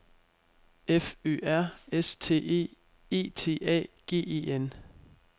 F Ø R S T E E T A G E N